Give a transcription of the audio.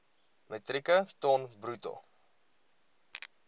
metrieke ton bruto